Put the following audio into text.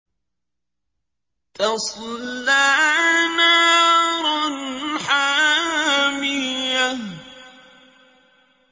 تَصْلَىٰ نَارًا حَامِيَةً